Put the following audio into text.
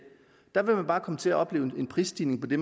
der vil de bare komme til at opleve en prisstigning på det